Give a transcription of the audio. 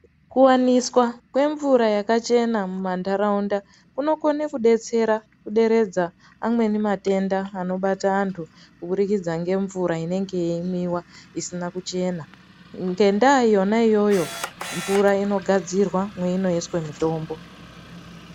Kuwaniswa kwemvura yakachena mumantaraunda unokona kudetsera kuderedza amweni matenda anobata antu kubudikidza ngemvura inenge yeimwiwa isina kuchena ngenda yona iyoyo mvura inogadzirwa meinoiswa mutombo.